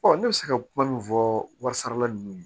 ne bɛ se ka kuma min fɔ wari sarala ninnu ye